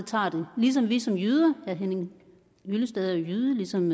tager ligesom vi som jyder herre henning hyllested er jo jyde ligesom